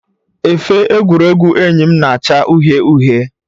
Efe egwuregwu enyi m na-acha uhie uhie